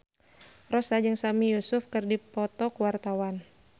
Rossa jeung Sami Yusuf keur dipoto ku wartawan